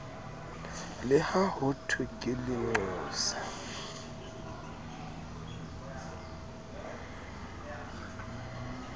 le ha hothwe ke lenqosa